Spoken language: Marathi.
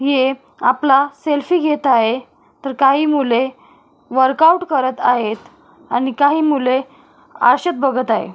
हे एक आपला सेल्फी घेत आहे तर काही मुले वर्कआउट करत आहेत आणि काही मुले आरशात बघत आहे.